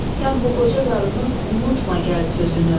Sən bu qoca qarının unutma gəl sözünü.